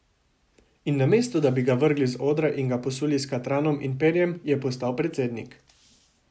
In namesto da bi ga vrgli z odra in ga posuli s katranom in perjem, je postal predsednik.